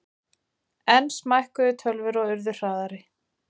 Enn smækkuðu tölvur og urðu hraðari.